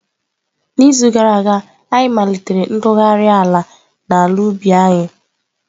N'izu gara aga, anyị malitere ntụgharị ala n'ala ubi anyị.